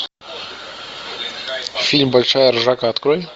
фильм большая ржака открой